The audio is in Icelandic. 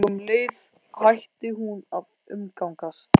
Og um leið hætti hún að umgangast